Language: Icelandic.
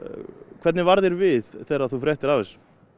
hvernig varð þér við þegar þú fréttir af þessu